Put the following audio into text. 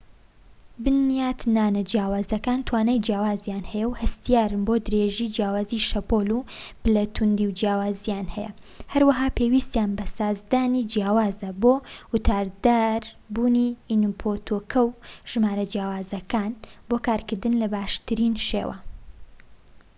بنیاتنانە جیاوازەکان توانای جیاوازیان هەیە و هەستیارن بۆ درێژی جیاوازی شەپۆڵ و پلە توندی جیاوازیان هەیە هەروەها پێویستیان بە سازدانی جیاوازە بۆ واتادار بوونی ئینپوتەکە و ژمارە جیاوازەکان بۆ کارکردن بە باشترین شێوە